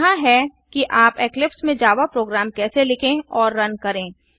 यहाँ हैं कि आप इक्लिप्स में जावा प्रोग्राम कैसे लिखें और रन करें